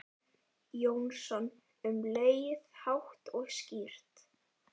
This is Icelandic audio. Jónsson um leið, hátt og skýrt.